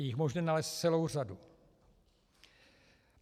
Je jich možné nalézt celou řadu.